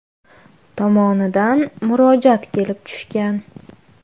tomonidan murojaat kelib tushgan.